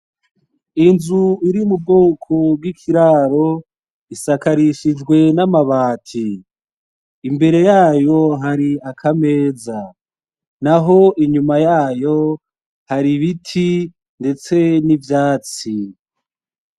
Inzu iri mu bwoko bwi'ikiraro isakarishijwe n'amabati. Imbere yayo hari akameza. Naho inyuma yayo, hari ibiti ndetse n'ivyatsi.